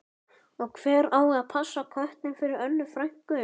Og hver á að passa köttinn fyrir Önnu frænku?